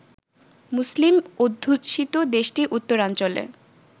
মুসলিম অধ্যুষিত দেশটির উত্তরাঞ্চলে